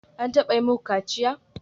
An taba yi muku kaciya?